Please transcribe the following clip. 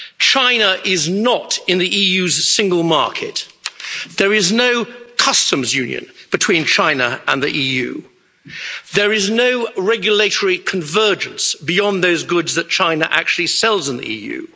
China is not in the EU's single market. There is no Customs Union between China and the EU. There is no regulatory convergence beyond those goods that China actually sells in the EU.